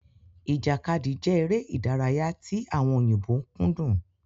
Ìjàkadì jẹ èrè ìdárayá tí àwọn òyìnbó kúndùn